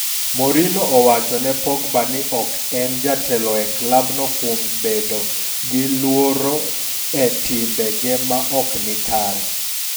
Mourinho owachone Pogba ni ok en jatelo e klab no kuom bedo gi luoro e timbe ge maok ni kare.